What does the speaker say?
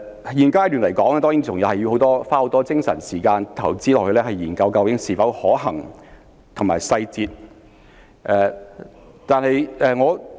在現階段，當然還要花很多精神和時間，研究計劃是否可行及有關細節。